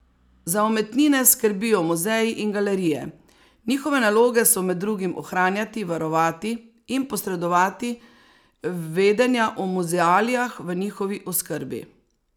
Za umetnine skrbijo muzeji in galerije, njihove naloge so med drugim ohranjati, varovati in posredovati vedenja o muzealijah v njihovi oskrbi.